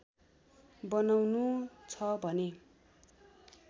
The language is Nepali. बनाउनु छ भने